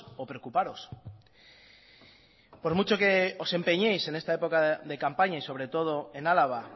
o preocuparos por mucho que os empeñéis en esta época de campaña y sobre todo en álava